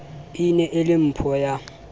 ne e le mpho ya